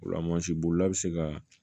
O la mansin bolila bɛ se ka